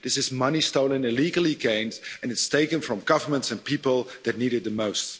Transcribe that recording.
This is money stolen, illegally gained, and it's taken from governments and people that need it the most.